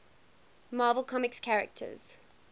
marvel comics characters